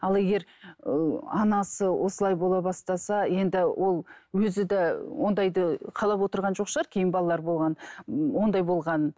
ал егер ііі анасы осылай бола бастаса енді ол өзі де ондайды қалап отырған жоқ шығар кейін балалары болғанын ы ондай болғанын